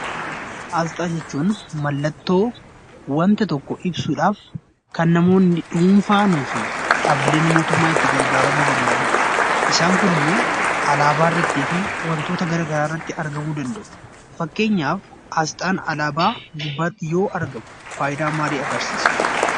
Asxaa jechuun mallattoo wanta tokko ibsuudhaaf kan namoonni dhuunfaanii fi dhaabbileen mootummaa itti gargaaramuu danda'anidha. Isaan kun immoo alaabaa irrattii fi wantoota gara garaa irratti argamuu danda'u. Fakkeenyaaf Asxaan alaabaa gubbaatti yoo argamu, faayidaa maalii agarsiisa?